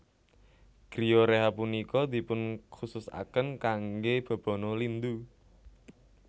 Griyo rehab punika dipunkhususaken kangge bebana lindu